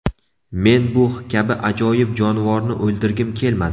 Men bu kabi ajoyib jonivorni o‘ldirgim kelmadi.